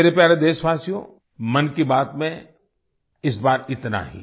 मेरे प्यारे देशवासियो मन की बात में इस बार इतना ही